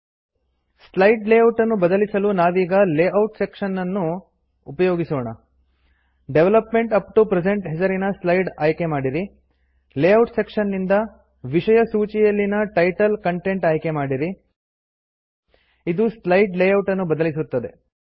slide ಲೇಔಟನ್ನು ಬದಲಿಸಲು ನಾವೀಗ ಲೇಔಟ್ ಸೆಕ್ಶನ್ ಉಪಯೋಗಿಸೋಣ ಡೆವಲಪ್ಮೆಂಟ್ ಅಪ್ಟೊ ಪ್ರೆಸೆಂಟ್ ಹೆಸರಿನ ಸ್ಲೈಡ್ ಆಯ್ಕೆ ಮಾಡಿರಿ ಲೇಔಟ್ ಸೆಕ್ಶನ್ ದಿಂದ ಜಿಟಿಜಿಟಿ ವಿಷಯ ಸೂಚಿಯಲ್ಲಿನ ಟೈಟಲ್ ಕಂಟೆಂಟ್ ಆಯ್ಕೆ ಮಾಡಿರಿ ಇದು ಸ್ಲೈಡ್ ಲೇಔಟನ್ನು ಬದಲಿಸುತ್ತದೆ